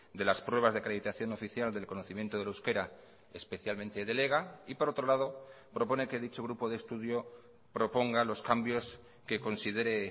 de las pruebas de acreditación oficial del conocimiento del euskera especialmente del ega y por otro lado propone que dicho grupo de estudio proponga los cambios que considere